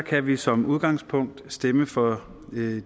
kan vi som udgangspunkt stemme for